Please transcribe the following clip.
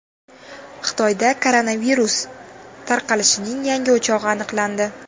Xitoyda koronavirus tarqalishining yangi o‘chog‘i aniqlandi.